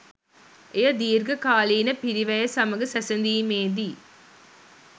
එය දිර්ඝ කාලීන පිරිවැය සමඟ සැසදීමේදී